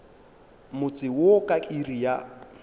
motse wo ka iri ya